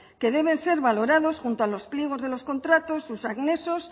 que deben ser valorados junto a los pliegos de los contratos sus anexos